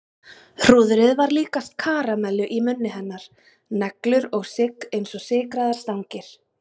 Hrúðrið var líkast karamellu í munni hennar, neglur og sigg eins og sykraðar stangir.